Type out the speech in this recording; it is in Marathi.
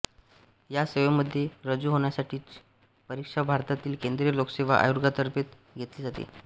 या सेवेमध्ये रुजू होण्यासाठीची परीक्षा भारतातील केंद्रिय लोकसेवा आयोगातर्फे घेतली जाते